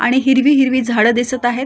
आणि हिरवी हिरवी झाडं दिसत आहेत.